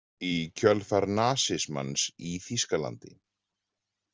Í kjölfar nasismans í Þýskalandi.